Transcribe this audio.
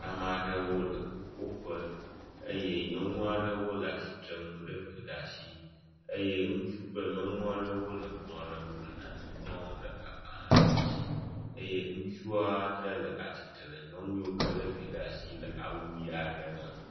Ame aɖewo le ƒuƒoƒe eye nyɔnu aɖewo le atsitre nu le vi ɖe asi eye ŋutsu kple nyɔnu aɖewo le kplɔ ɖe ŋu le nane ŋlɔm ɖe agbalẽ aɖe dzi eye ŋutsua aɖe le atsitre le nyɔnu yiwo ke le vi ɖe asi le awu ɣi aɖe me.